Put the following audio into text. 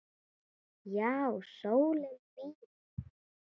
Já, sólin mín.